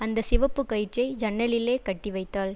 அந்த சிவப்பு கயிற்றை ஜன்னலிலே கட்டிவைத்தாள்